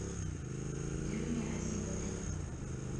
дрюне азимове